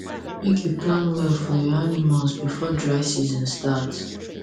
make you plan well for your animals before dry season start